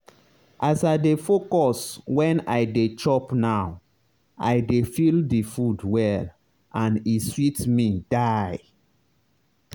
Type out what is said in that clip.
as i dey focus when i dey chop now i dey feel the food well and e sweet me die.